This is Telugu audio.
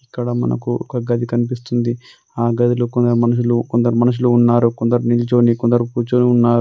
ఇక్కడ మనకు ఒక గది కనిపిస్తుంది. ఆ గదిలో మనుషులు కొందరు మనుషులు ఉన్నారు. కొందరు నిల్చొని కొందరు కూర్చొని ఉన్నారు.